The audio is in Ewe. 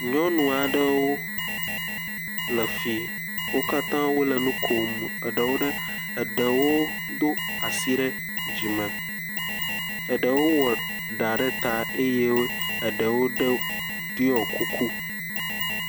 Nyɔnu aɖewo le fi, wo katã wole nu kom, eɖewo do asi ɖe dzi me, eɖewo wɔ ɖa ɖe ta eye eɖewo ɖɔ kuku.